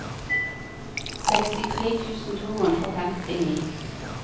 sekstitre tusen to hundre og femtini